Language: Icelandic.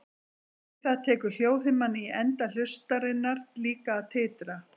Við það tekur hljóðhimnan í enda hlustarinnar líka að titra.